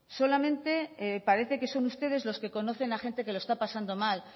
solamente parece que son ustedes los que conocen a gente que lo está pasando mal